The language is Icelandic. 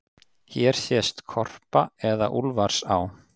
Hér sést Korpa eða Úlfarsá.